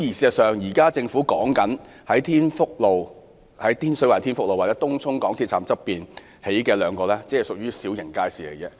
可是，政府目前擬於天水圍天福路及東涌港鐵站側興建的街市，僅為小型街市。